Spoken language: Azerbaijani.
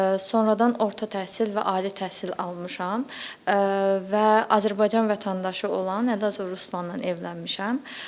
Sonradan orta təhsil və ali təhsil almışam və Azərbaycan vətəndaşı olan Ələzov Ruslanla evlənmişəm.